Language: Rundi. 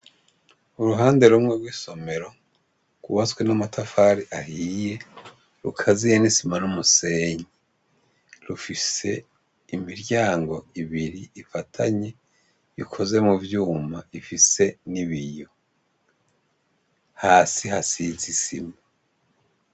Uruhande rumwe gw' isomero gwubatswe n' amatafari ahiye rukaziye n' isima n' umusenyi rufise imiryango ibiri ifatanye ikoze muvyuma ifise n' ibiyo hasi hasize isima.